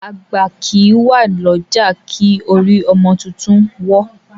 Àgbà kì í wà lọ́jà kí orí ọmọ tuntun wọ́.